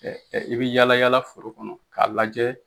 Ɛ ɛ i bi yaala yaala foro kɔnɔ k'a lajɛ